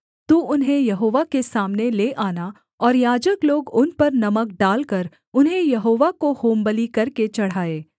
तू उन्हें यहोवा के सामने ले आना और याजक लोग उन पर नमक डालकर उन्हें यहोवा को होमबलि करके चढ़ाएँ